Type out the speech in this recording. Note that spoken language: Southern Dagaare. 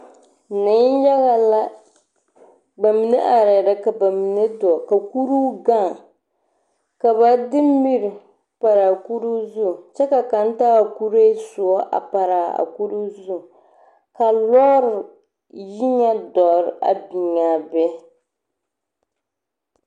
Neŋ yaga la bamine are la ka ba mine gaŋ ka ba de mirii pare a kuri zu kyɛ ka kaŋ taa a kurɛ sūū pare a kurozu ka lɔɔre yi ŋa duoro meŋ biŋ a be.